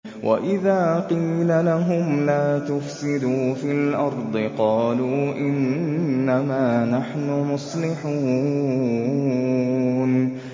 وَإِذَا قِيلَ لَهُمْ لَا تُفْسِدُوا فِي الْأَرْضِ قَالُوا إِنَّمَا نَحْنُ مُصْلِحُونَ